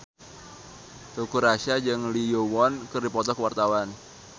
Teuku Rassya jeung Lee Yo Won keur dipoto ku wartawan